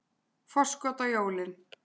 Forskot á jólin.